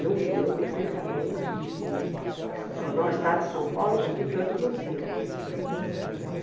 Eu me lembro perfeitamente de jornal Estado de São Paulo publicando os Lusíadas. Uhum.